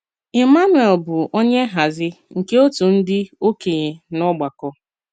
Emmanuel bụ onye nhazi nke òtù ndị okenye n’ọgbakọ.